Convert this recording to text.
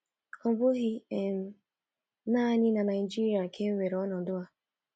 Ọ bụghị um nanị na Naịjirịa ka e nwere ọnọdụ a.